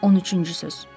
13-cü söz.